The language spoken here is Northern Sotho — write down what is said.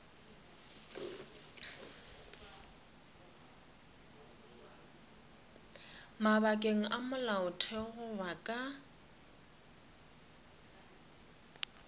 mabakeng a molaotheo goba ka